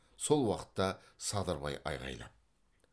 сол уақытта садырбай айғайлап